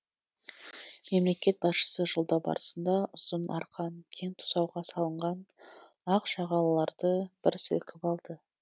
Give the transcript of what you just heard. мемлекет басшысы жолдау барысында ұзын арқан кең тұсауға салынған ақжағалыларды бір сілкіп алды